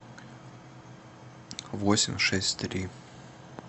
восемь шесть три